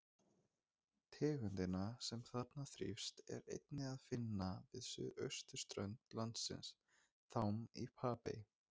Tegundina, sem þarna þrífst, er einnig að finna við suðausturströnd landsins, þám í Papey.